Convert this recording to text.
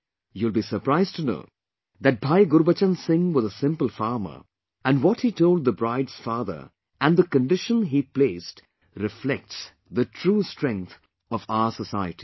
But, you will be surprised to know that Bhai Gurbachan Singh was a simple farmer and what he told the bride's father and the condition he placed reflects the true strength of our society